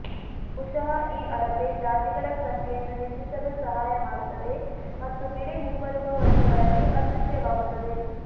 ಬಹುಶಃ ಈ ಅಳತೆ ಜಾತಿಗಳ ಸಂಖ್ಯೆಯನ್ನು ಹೆಚ್ಚಿಸಲು ಸಹಾಯ ಮಾಡುತ್ತದೆ ಮತ್ತು ಬಿಳಿ ಮುಂಬರುವ ವರ್ಷಗಳಲ್ಲಿ ಅದೃಶ್ಯವಾಗುತ್ತದೆ